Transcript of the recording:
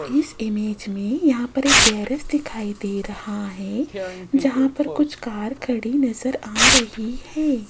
इस इमेज मे यहां पर एक गैरेज दिखाई दे रहा है जहां पर कुछ कार खड़ी नज़र आ रही है।